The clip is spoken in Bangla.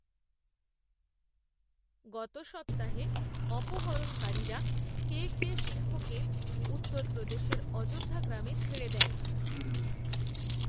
গত সপ্তাহে অপহরণকারীরা, কে কে সিংহকে, উত্তরপ্রদেশের অযোধ্যা গ্রামে, ছেড়ে দেয়